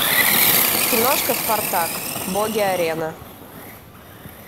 киношка спартак боги арены